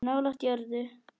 Nálægt jörðu